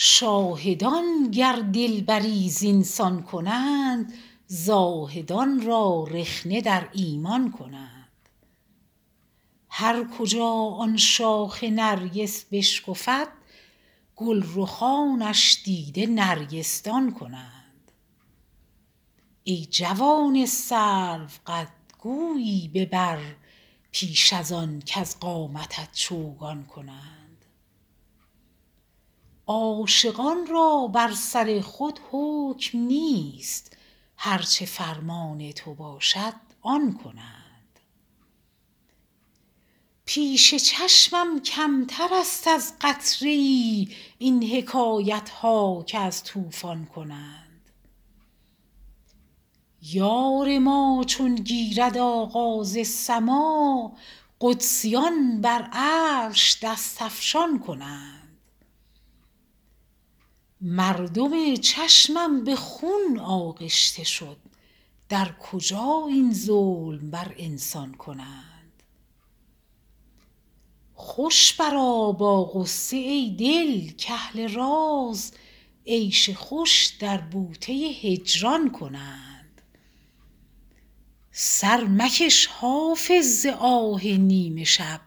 شاهدان گر دلبری زین سان کنند زاهدان را رخنه در ایمان کنند هر کجا آن شاخ نرگس بشکفد گل رخانش دیده نرگس دان کنند ای جوان سروقد گویی ببر پیش از آن کز قامتت چوگان کنند عاشقان را بر سر خود حکم نیست هر چه فرمان تو باشد آن کنند پیش چشمم کمتر است از قطره ای این حکایت ها که از طوفان کنند یار ما چون گیرد آغاز سماع قدسیان بر عرش دست افشان کنند مردم چشمم به خون آغشته شد در کجا این ظلم بر انسان کنند خوش برآ با غصه ای دل کاهل راز عیش خوش در بوته هجران کنند سر مکش حافظ ز آه نیم شب